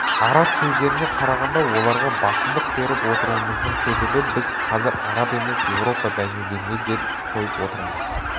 араб сөздеріне қарағанда оларға басымдық беріп отыруымыздың себебі біз қазір араб емес европа мәдениетіне ден қойып отырмыз